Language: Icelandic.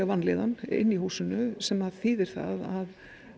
vanlíðan inni í húsinu sem þýðir það að